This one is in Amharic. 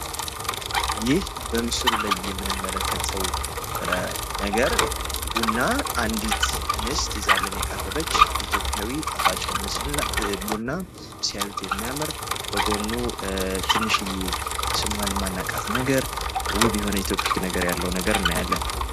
ይህ በምስሉ ላይ የምንመለከተው ነገር ቡና አንዲት እንስት ይዛልን የቀረበች ሲሆን ፤ ጣፋጭና ኢትዮጵያዊ ይዘት ያለው ነው።